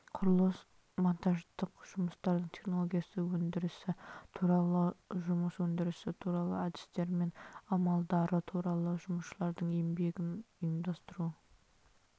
құрылыс-монтаждық жұмыстардың технологиялық өндірісі туралы жұмыс өндірісі туралы әдістер мен амалдары туралы жұмысшылардың еңбегін ұйымдастыру